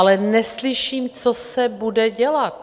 Ale neslyším, co se bude dělat.